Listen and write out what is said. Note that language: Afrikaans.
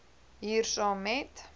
hier saam met